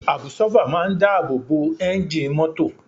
Àbsọ́fà máa ń dáàbò bo ẹ́ńjì mọ́tò